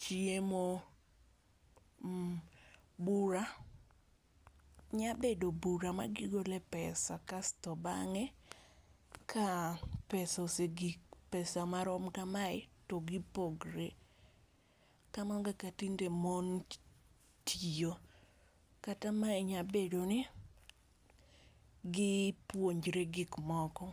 chiemo, bura nya bedo bura ma gi gole pesa kasto bang'e ka pesa ose gik, pesa ma rom ka mae to gi pogre. Kamano kaka tinde mon tiyo kata mae nya bedo ni gi puonjre gik moko.